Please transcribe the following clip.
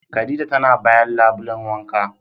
Khadijah tana bayan labulen wanka.